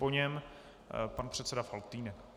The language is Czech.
Po něm pan předseda Faltýnek.